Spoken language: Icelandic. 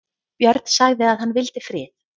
Björn sagði að hann vildi frið.